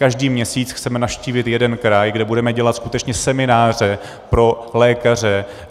Každý měsíc chceme navštívit jeden kraj, kde budeme dělat skutečně semináře pro lékaře.